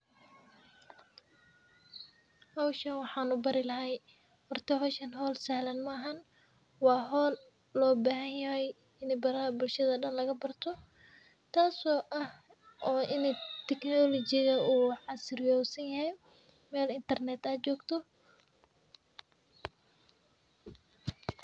Howshan wxan ubari lahay, horta hoshan holsahlan maaha wa hol lobahanyahay inbaraha bulshada dan lagabarto tas o ah o ini technology u casriyersanyahay, mel Internet ajogto.